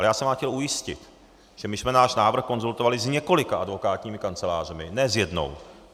Ale já jsem vás chtěl ujistit, že my jsme náš návrh konzultovali s několika advokátními kancelářemi, ne s jednou.